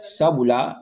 Sabula